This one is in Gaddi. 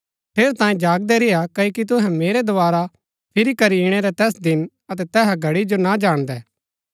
ठेरैतांये जागदै रेय्आ क्ओकि तुहै मेरै दोवारा फिरी करी इणै रै तैस दिन अतै तैहा घड़ी जो ना जाणदै